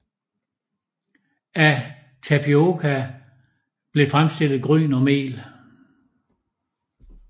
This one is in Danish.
Af tapioka blev fremstillet gryn og mel